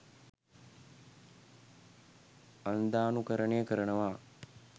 අන්ධානුකරණය කරනවා